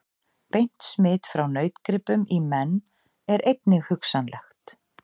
Beint smit frá nautgripum í menn er einnig hugsanlegt.